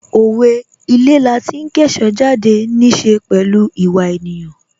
Owe' Ilé lati ń kẹ́ṣọ̀ọ́ jáde' níí ṣe pẹ̀lú ìwà ènìyàn